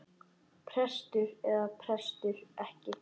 Prestur eða prestur ekki.